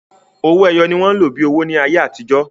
Owó èyọ̀ ní wọn lọ́ bí owó ní ayé atijọ.